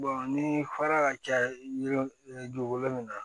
ni fara ka ca yiri dugukolo min na